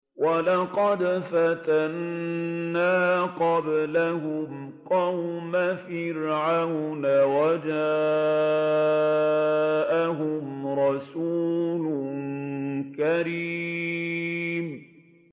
۞ وَلَقَدْ فَتَنَّا قَبْلَهُمْ قَوْمَ فِرْعَوْنَ وَجَاءَهُمْ رَسُولٌ كَرِيمٌ